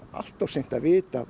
allt of seint að vita